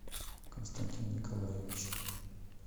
константин николаевич